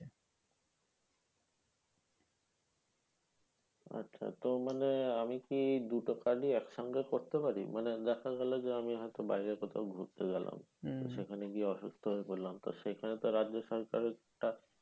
আচ্ছা তো মানে আমি কি দুটো card ই একসঙ্গে করতে পারি? মানে দেখা গেলো যে, আমি হয়তো বাইরে ঘুরতে গেলাম। সেখানে গিয়ে অসুস্থ হয়ে পড়লাম। তা সেখানে তো রাজ্য সরকারটা